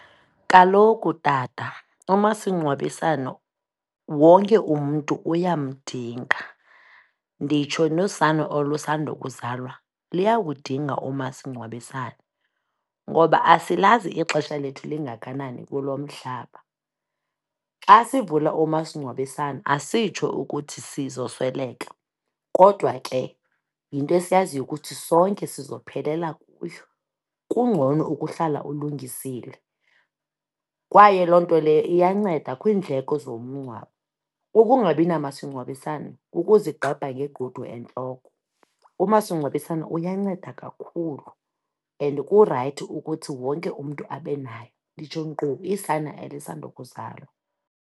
Kaloku tata umasingcwabisane wonke umntu uyamdinga, nditsho nosana olusandokuzalwa liyawudinga umasingcwabisane ngoba asilazi ixesha lethu lingakanani kulo mhlaba. Xa sivula umasingcwabisane asitsho ukuthi sizosweleka, kodwa ke yinto esiyaziyo ukuthi sonke sizophelela kuyo. Kungcono ukuhlala ulungisile, kwaye loo nto leyo iyanceda kwiindleko zomngcwabo. Ukungabi namasingcwabisane kukuzigqebha ngegqudu entloko. Umasingcwabisane uyanceda kakhulu and kurayithi ukuthi wonke umntu abe naye, nditsho nkqu isana elisandokuzalwa.